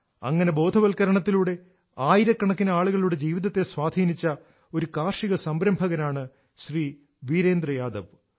അങ്ങനെ ബോധവൽകരണത്തിലൂടെ ആയിരക്കണക്കിന് ആളുകളുടെ ജീവിതത്തെ സ്വാധീനിച്ച ഒരു കാർഷിക സംരംഭകനാണ് ശ്രീ വീരേന്ദ്ര യാദവ്